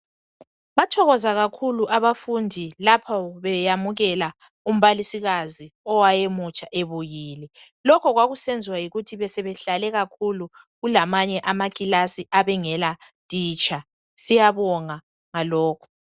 bathokoza kakhulu abafundi lapha beyamukela umbalisikazi owayemutsha ebuyile lokho kwakuyenza yikuthi basebehlale kakhulu kulamanye amakilasi awayengela matitsha siyabonga ngalokho